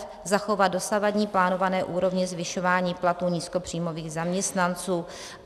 F. Zachovat dosavadní plánované úrovně zvyšování platů nízkopříjmových zaměstnanců."